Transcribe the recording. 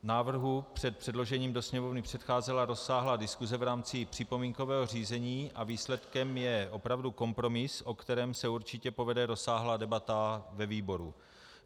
Návrhu před předložením do Sněmovny předcházela rozsáhlá diskuse v rámci připomínkového řízení a výsledkem je opravdu kompromis, o kterém se určitě povede rozsáhlá debata ve výboru.